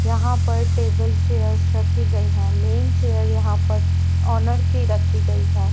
यहां पर table chairs रखी गई है मेन चेयर यहां पर ओनर की रखी गई है।